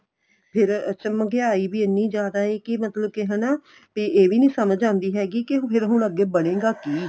ਫੇਰ ਅੱਛਾ ਮੰਗਿਆਈ ਵੀ ਇੰਨੀ ਜਿਆਦਾ ਏ ਕੀ ਮਤਲਬ ਕੀ ਹਨਾ ਤੇ ਇਹ ਵੀ ਨੀਂ ਸਮਝ ਆਉਂਦੀ ਹੈਗੀ ਕੀ ਜਿਹੜਾ ਹੁਣ ਅੱਗੇ ਬਣੇਗਾ ਕੀ